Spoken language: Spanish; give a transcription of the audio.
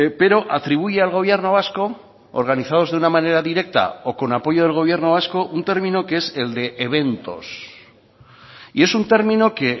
pero atribuye al gobierno vasco organizados de una manera directa o con apoyo del gobierno vasco un término que es el de eventos y es un término que